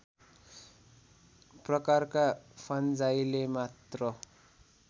प्रकारका फन्जाइले मात्र